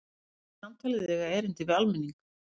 Segir samtalið eiga erindi við almenning